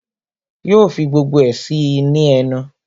Yo fi gbogbo ẹ sí í ní ẹnu